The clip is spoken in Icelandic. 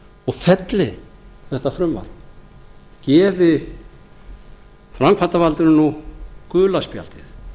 og felli þetta frumvarp gefi framkvæmdarvaldinu nú gula spjaldið